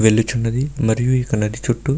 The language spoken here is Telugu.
వెళ్ళుచున్నది. మరియు ఈ యొక్క నది చుట్టూ --